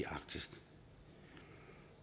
arktis